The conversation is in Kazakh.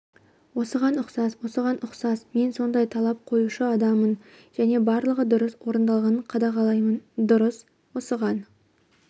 осыған ұқсас осыған ұқсас мен сондай талап қоюшы адамын және барлығы дұрыс орындалғанын қадағалаймын дұрыс осыған